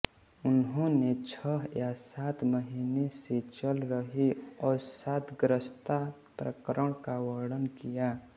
उन्होने छह या सात महीने से चल रही अवसादग्रस्तता प्रकरण का वर्णन किया